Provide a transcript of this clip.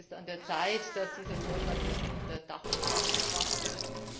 Es ist an der Zeit, dass dieser Vorschlag jetzt unter Dach und Fach gebracht wird.